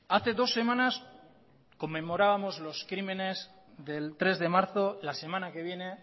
hace dos semanas conmemorábamos los crímenes del tres de marzo la semana que viene